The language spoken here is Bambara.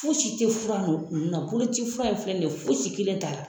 Fosi te fura un na boloci fura in filɛ nin ye fosi kelen t'ala